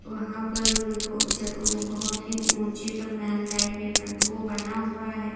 वहां पर वो देखो ऊंचा बहुत ही ऊंचे पर महल टाइप में बन वो बना हुआ है।